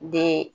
Den